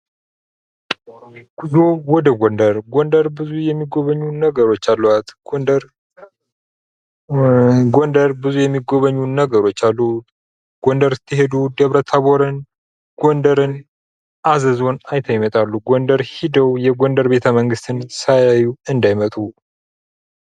ጉዞ ወደ ጎንደር፦ ጎንደር ብዙ የሚጎበኙ ነገሮች አሏት። ጎንደር ስትሄዱ ደብረ-ታቦርንስ ጎንደርን፣ አዘዞን አይተው ይመጣሉ። ጎንደር ሂደው የጎንደር ቤተ-መንግስትን ሳያዩ አንዳይመጡ ።